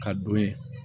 Ka don ye